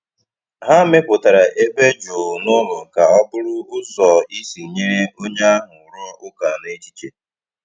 Ha mepụtara ebe jụụ n’ụlọ ka ọ bụrụ ụzọ isi nyere onye ahụ rụọ ụka n’echiche.